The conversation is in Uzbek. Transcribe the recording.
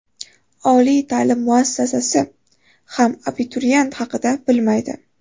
Oliy ta’lim muassasasi ham abituriyent haqida bilmaydi.